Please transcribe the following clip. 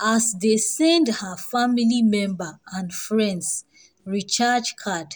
as dey send her family member and friends recharge card.